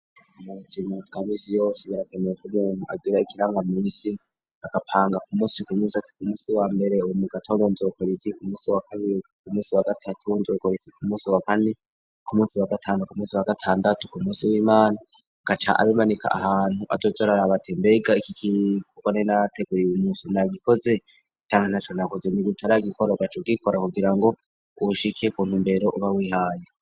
Mu buzima bwa misi yose birakenewe ko umuntu agira ikirangamisi, agapanga ku musi ku musi ati ku musi wa mbere ubu mu gatondo nzokora iki, ku musi wa kabiri ku musi wa gatatu nzokora iki ku musi wa kane, ku musi wa gatanu ku musi wa gatandatu, ku musi w'imana, agaca abimanika ahantu azoza araraba ati mbega iki kintu ko nari narateguye uyu musi nagikoze? Canke ntaco nakoze? Mu gihe utaragikora ugaca ugikora kugira ngo ushike ku ntumbero uba wihaye.